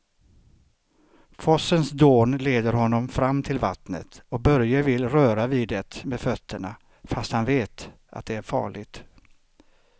Forsens dån leder honom fram till vattnet och Börje vill röra vid det med fötterna, fast han vet att det är farligt.